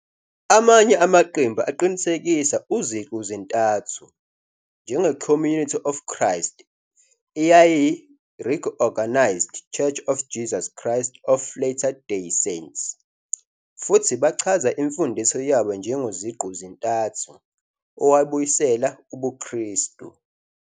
Amanye amaqembu aqinisekisa uZiqu-zintathu, njengeCommunity of Christ, eyayiyiReorganized Church of Jesus Christ of Latter Day Saints, futhi bachaza imfundiso yabo njengoZiqu-zintathu owabuyisela ubuKristu.